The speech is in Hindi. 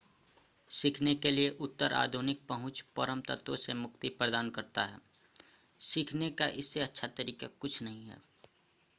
सीखने के लिए उत्तर आधुनिक पहुंच परम तत्वों से मुक्ति प्रदान करता है सीखने का इससे अच्छा तरीका कुछ नहीं है